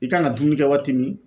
I kan ka dumuni kɛ waati min